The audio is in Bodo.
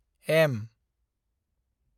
एम